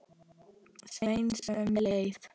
Sveins um leið.